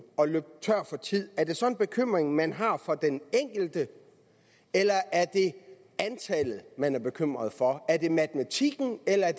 at løbe tør for tid er det så en bekymring man har for den enkelte eller er det antallet man er bekymret for er det matematikken eller er